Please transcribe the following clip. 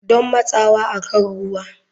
Don matsawa akan ruwa.